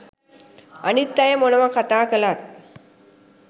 අනිත් අය මොනවා කතා කළත්